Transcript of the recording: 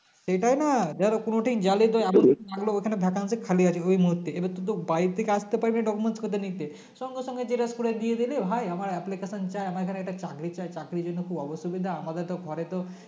সেটাই না ধরে কোনোদিন জানলি যে ওখানে Vacancy খালি আছে ওই মুহূর্তে এবার তুই তো বাড়ি থেকে আস্তে পারবি না document কথা নিতে সঙ্গে সঙ্গে xerox করে দিয়ে দিবি ভাই আমার application চায় আমার এখানে একটা চাকরি চাই চাকরির জন্য খুব অসুবিধা আমাদের তো ঘরে তো